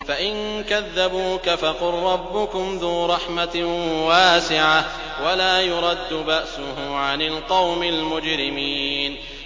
فَإِن كَذَّبُوكَ فَقُل رَّبُّكُمْ ذُو رَحْمَةٍ وَاسِعَةٍ وَلَا يُرَدُّ بَأْسُهُ عَنِ الْقَوْمِ الْمُجْرِمِينَ